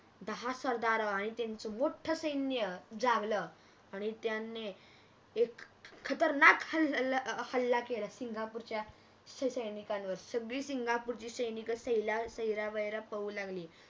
दहा सरदार आणि त्यांच मोठ सैन्य जागल आणि त्यांनी एक खतरनाक हल्ला केला सिंगापूरच्या सैनिकांवर अह सगळी सिंगपूरची सैन्य सैरा वैरा पळू लागली